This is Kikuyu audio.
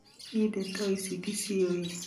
Nie ndeto icio ndiciũi.